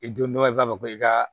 I don dɔ i b'a fɔ ko i ka